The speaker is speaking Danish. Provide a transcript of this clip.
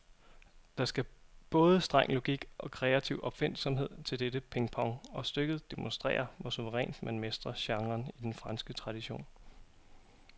Der skal både streng logik og kreativ opfindsomhed til dette pingpong, og stykket demonstrerer, hvor suverænt man mestrer genren i den franske tradition.